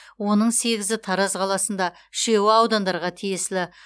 оның сегізі тараз қаласында үшеуі аудандарға тиесілі